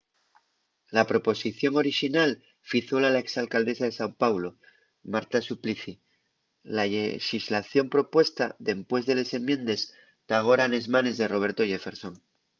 la proposición orixinal fízola la ex alcaldesa de sao paulo marta suplicy la llexislación propuesta dempués de les enmiendes ta agora nes manes de roberto jefferson